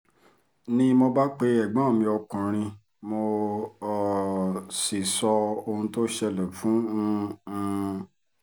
ni mo bá pe ẹ̀gbọ́n mi ọkùnrin mo um sì sọ ohun tó ṣẹlẹ̀ fún um un